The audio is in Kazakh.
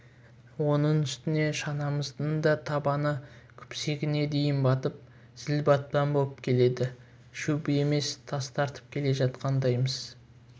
оның үстіне шанамыздың да табаны күпсегіне дейін батып зіл батпан боп келеді шөп емес тас тартып келе жатқандаймыз